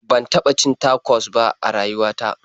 Ban taɓa cin tacos ba a rayuwa ta.